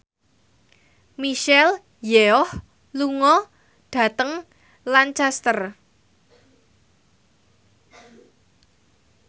Michelle Yeoh lunga dhateng Lancaster